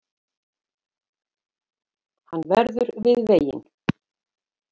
Hún lagði böggulinn frá sér og settist á klöpp